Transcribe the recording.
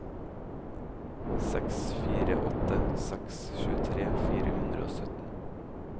seks fire åtte seks tjuetre fire hundre og sytten